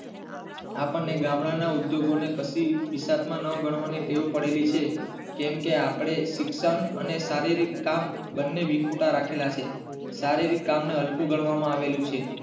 આપણને ગામડાના ઉદ્યયોગો ને કદી હિસાબ માં ન ગણવાની ટેવ પડેલી છે કેમકે આપડે શિક્ષણ અને શારીરિક કામ બને વિખુટા રાખેલા છે શારીરિક કામ ને હલકું ગણવામાં આવેલું છે.